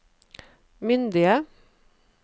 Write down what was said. myndige